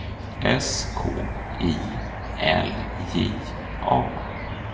S K I L J A